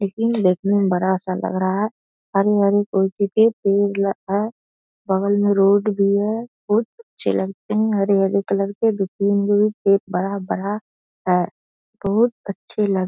ATM. देखने से बड़ा सा लग रहा है। हरे-हरे पेड़ लग रहा है। बगल में रोड भी है। बहुत अच्छे लग रहे है हरे-हरे कलर के एक बड़ा-बड़ा है और बहुत अच्छी लग --